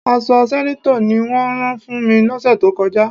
Aṣọ sẹ́nétọ̀ ni wọ́n rán fún mi lọ́sẹ̀ tó kọjá.